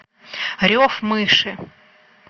рев мыши